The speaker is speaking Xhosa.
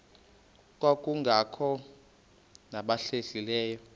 kwabangekakholwa nabahlehli leyo